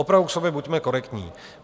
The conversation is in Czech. Opravdu k sobě buďme korektní.